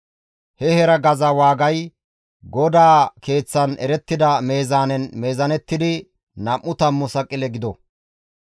He heregaza waagay GODAA Keeththan erettida meezaanen meezaanettidi nam7u tammu saqile gido.